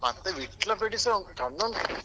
ಮತ್ತೆ Vitla ಬೇಡಿಸಾ ಚೆಂದ ಉಂಟು.